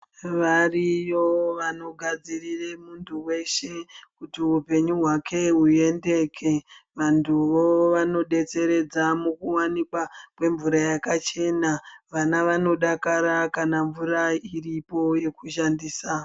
Variyo vanogadzirire muntu weshe kuti upenyu hwake huendeke. Vantuwo vanodetseredza mukuwanikwa kwemvura yakachena. Vana vanodakara kana mvura iripo yekushandisa.